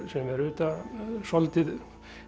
sem er auðvitað svolítið